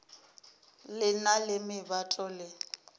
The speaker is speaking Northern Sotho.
le na le meboto le